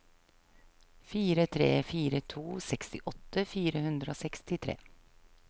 fire tre fire to sekstiåtte fire hundre og sekstitre